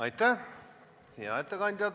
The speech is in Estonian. Aitäh, hea ettekandja!